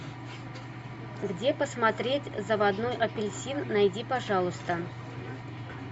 где посмотреть заводной апельсин найди пожалуйста